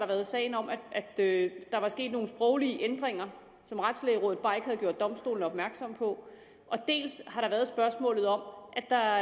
været sagen om at der var sket nogle sproglige ændringer som retslægerådet bare ikke havde gjort domstolen opmærksom på dels har der været spørgsmålet om at der